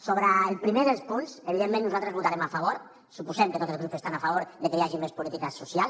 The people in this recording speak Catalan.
sobre el primer dels punts evidentment nosaltres hi votarem a favor suposem que tots els grups estan a favor de que hi hagi més política social